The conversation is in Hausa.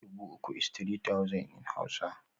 Dubu uku is three thousand in Hausa